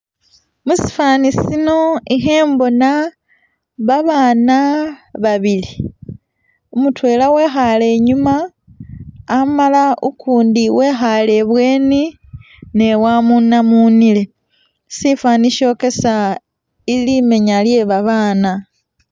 Musifwani sino ikhembona babaana babili, mutwela wekhale inyuma , amala ukundi wekhale ibweni ne wamunamunile. Sifwani syokesa limenya lye babaana.